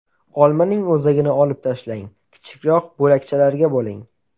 Olmaning o‘zagini olib tashlang, kichikroq bo‘lakchalarga bo‘ling.